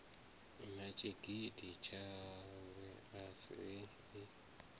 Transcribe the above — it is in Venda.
na tshigidi tshawe a si